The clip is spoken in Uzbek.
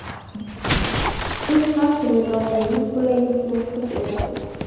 Siz har kuni doimiy qulaylikni his etasiz.